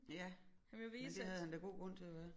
Ja men det havde han da god grund til at være